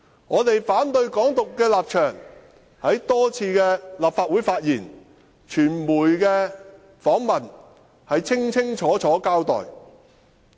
我們反對港獨的立場在多次的立法會發言及傳媒的訪問，已清楚交代。